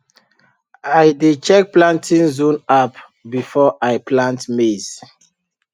i dey check planting zone app before i plant maize